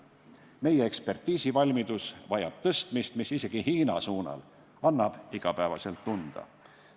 Meie ekspertiisivalmidus vajab parandamist, mis isegi Hiina suunal annab igapäevaselt tunda.